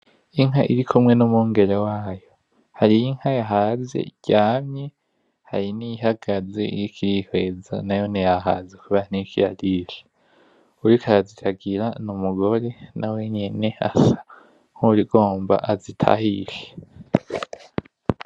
Inka irikumwe n'umwengere wayo hari Inka yahaze iryamye, hari niyihagaze iriko irihweza nayone yahaze kubera ntiriko irarisha. Uwuriko araziragira n'Umugore asa nuwugira azitahishe.